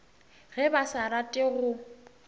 ge ba sa rate go